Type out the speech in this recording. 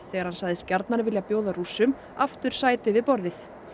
þegar hann sagðist gjarnan vilja bjóða Rússum aftur sæti við borðið